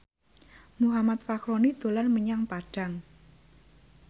Muhammad Fachroni dolan menyang Padang